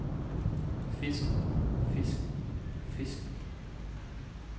fisken fisken fisken